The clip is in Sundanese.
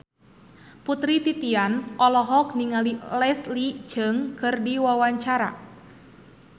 Putri Titian olohok ningali Leslie Cheung keur diwawancara